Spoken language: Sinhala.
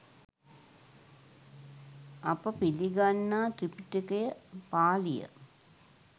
අප පිළිගන්නා ත්‍රිපිටකය පාලිය